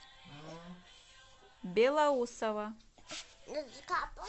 белоусово